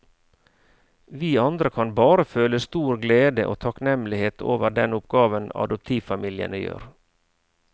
Vi andre kan bare føle stor glede og takknemlighet over den oppgaven adoptivfamiliene gjør.